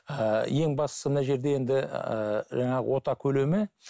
ыыы ең бастысы мына жерде енді ііі жаңағы ота көлемі